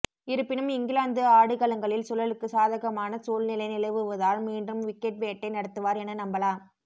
இருப்பினும் இங்கிலாந்து ஆடுகளங்களில் சுழலுக்கு சாதகமான சூழ்நிலை நிலவுவதால் மீண்டும் விக்கெட் வேட்டை நடத்துவார் என நம்பலாம்